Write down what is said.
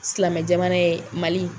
Silamɛ jamana ye Mali.